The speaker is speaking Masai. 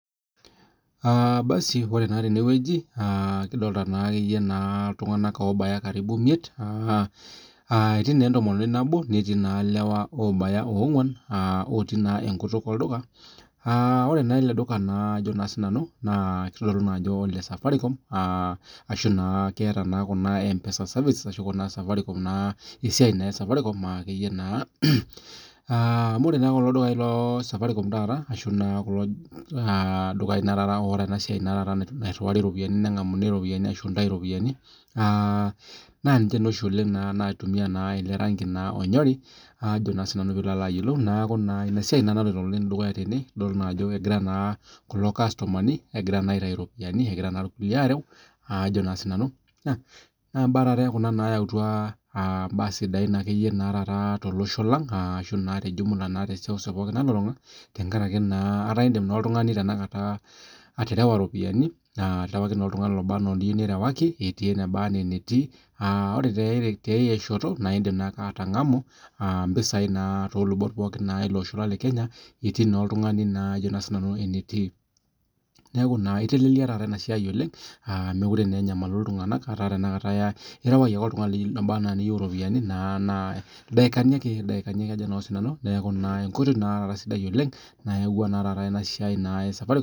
Ore naa tenewueji nikidolita iltung'ana obaya miet etii naa entomononi nabo netii elewa oobaya ong'uan otii naa enkutuk olduka ore naa ele duka naa kitodolu Ajo ole safaricom ashu keeta naa mpesa services ashu Kuna esiai esafaricom akeyie naa amu ore kulo dukai lee safaricom taata kulo [cs dukai otaa eniriwariekie eropiani ashu Entau eropiani naa ninche oshi oleng naitumia ele rangi onyori neeku enasiai naloito dukuya oleng tene edol Ajo egira naa kulo kastomani aitayu eropiani egira naa irkulikae arew naa mbaa taata Kuna nayawutua mbaa sidai tolosho lang ashu tee jumla tee seuseu nalulung'a tenkaraki etaa edim oltung'ani tanakata atarewa eropiani etii enaba ena enetii ore tiai shoto naa edim atangamu [mpisai naa too lubot pookin ele Osho lee Kenya etii naa oltung'ani naa enitii etelelia naa enasiai mekure enyamali iltung'ana etaa erewaki ake etii oltung'ani obaa enaa oletieu eropiani naa ildakani ake neeku enkoitoi nayawua enasiai ee safaricom